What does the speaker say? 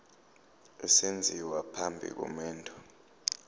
esenziwa phambi komendo